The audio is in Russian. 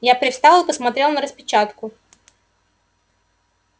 я привстал и посмотрел на распечатку